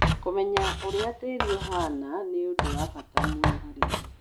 Kũmenya ũrĩa tĩĩri ũhaana nĩ ũndũ wa bata harĩ arĩmi